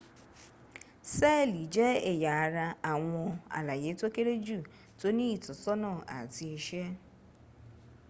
seeli je eya ara awon alaye to kere ju to ni itosona ati ise